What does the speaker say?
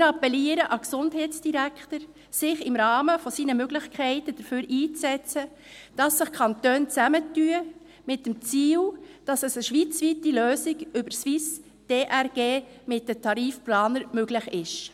Wir appellieren an den Gesundheitsdirektor, dass er sich im Rahmen seiner Möglichkeiten dafür einsetzt, dass sich die Kantone zusammentun, mit dem Ziel, dass es eine schweizweite Lösung über die SwissDRG AG mit den Tarifplanern möglich ist.